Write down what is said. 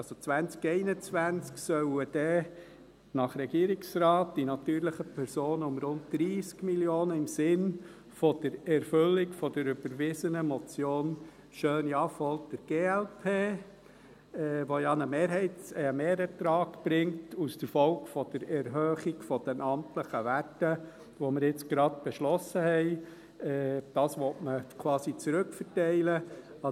Per 2021 sollen dann nach Regierungsrat die natürlichen Personen um rund 30 Mio. Franken im Sinn der Erfüllung der überwiesenen Motion Schöni-Affolter, glp , die ja einen Mehrertrag aus der Folge der Erhöhung der amtlichen Werte, die wir jetzt gerade beschlossen haben, bringt …